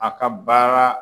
A ka baara